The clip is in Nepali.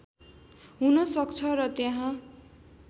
हुन सक्छ र त्यहाँ